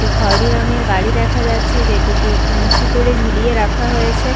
একটি খৈরী রঙের গাড়ি দেখা যাচ্ছে যেটিকে একটু উঁচু করে ঝুলিয়ে রাখা হয়েছে।